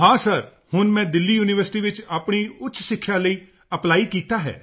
ਹਾਂ ਸਰ ਹੁਣ ਮੈਂ ਦਿੱਲੀ ਯੂਨੀਵਰਸਿਟੀ ਵਿੱਚ ਆਪਣੀ ਉੱਚ ਸਿੱਖਿਆ ਲਈ ਅਪਲਾਈ ਕੀਤਾ ਹੈ